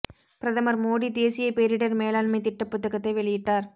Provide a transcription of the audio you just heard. பிரதமர் மோடி தேசிய பேரிடர் மேலாண்மை திட்ட புத்தகத்தை வெளியிட்டார்